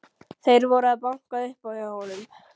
Þeir voru að banka upp á hjá honum.